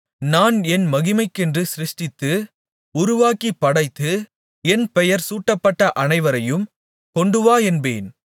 நான் என் மகிமைக்கென்று சிருஷ்டித்து உருவாக்கிப் படைத்து என் பெயர் சூட்டப்பட்ட அனைவரையும் கொண்டுவா என்பேன்